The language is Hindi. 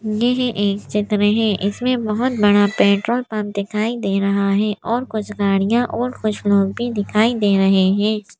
येह एक चित्र है इसमें बहोत बड़ा पेट्रोल पंप दिखाई दे रहा है और कुछ गाड़ियां और कुछ लोग भी दिखाई दे रहे हैं।